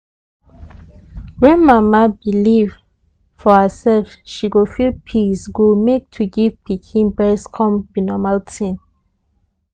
when mama believe for herself she go feel peacee go make to give pikin breast come be normal tin